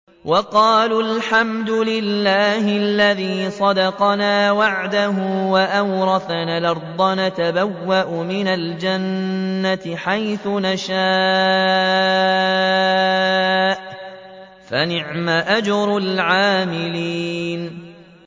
وَقَالُوا الْحَمْدُ لِلَّهِ الَّذِي صَدَقَنَا وَعْدَهُ وَأَوْرَثَنَا الْأَرْضَ نَتَبَوَّأُ مِنَ الْجَنَّةِ حَيْثُ نَشَاءُ ۖ فَنِعْمَ أَجْرُ الْعَامِلِينَ